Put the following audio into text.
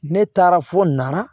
Ne taara fo nara